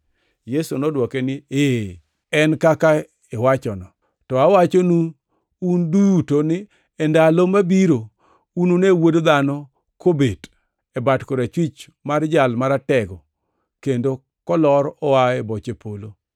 Yesu nodwoke niya, “E en kaka iwachono. To awachonu un duto ni e ndalo mabiro unune Wuod Dhano kobet e bat korachwich mar Jal Maratego kendo kolor oa e boche polo.”